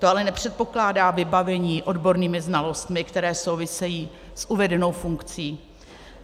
To ale nepředpokládá vybavení odbornými znalostmi, které souvisejí s uvedenou funkcí.